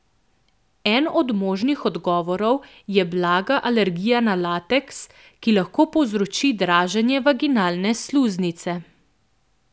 En od možnih odgovorov je blaga alergija na lateks, ki lahko povzroči draženje vaginalne sluznice.